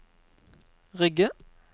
Rygge